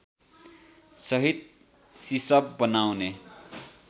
सहित सिसप बनाउने